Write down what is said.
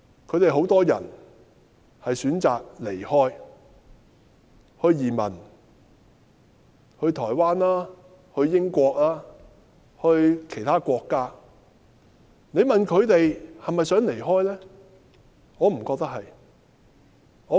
他們很多人選擇離開，移民去台灣、去英國、去其他國家。你問他們是否想離開，我不認為是。